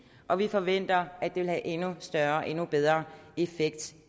og vi forventer at den vil have endnu større og endnu bedre effekt